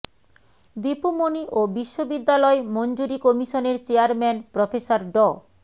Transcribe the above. দীপু মনি ও বিশ্ববিদ্যালয় মঞ্জুরি কমিশনের চেয়ারম্যান প্রফেসর ড